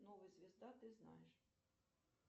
новая звезда ты знаешь